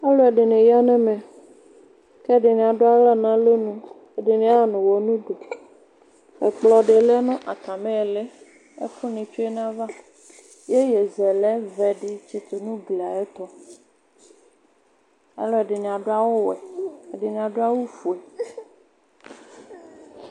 Alʋ ɛdini yanʋ ɛmɛ kʋ ɛdini adʋ aɣla nʋ alɔnʋ ɛdini axanʋ ʋwɔ nʋ ʋdʋ ɛkplɔdi lɛnʋ atali iili ɛkʋni tsue nʋ ayʋ ava yeyezɛlɛ vɛdi tsitu nʋ ugli ayʋ ɛtʋ alʋ ɛdininm adʋ awʋwɛ ɛdini adʋ awʋfue